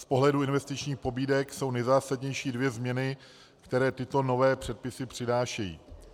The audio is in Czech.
Z pohledu investičních pobídek jsou nejzásadnější dvě změny, které tyto nové předpisy přinášejí.